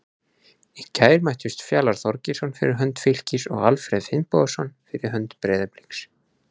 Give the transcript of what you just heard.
Í gær mættust Fjalar Þorgeirsson fyrir hönd Fylkis og Alfreð Finnbogason fyrir hönd Breiðabliks.